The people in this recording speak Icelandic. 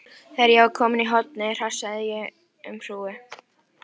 Þegar ég var komin í hornið hrasaði ég um hrúgu.